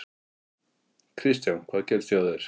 Kristján: Hvað gerðist hjá þér?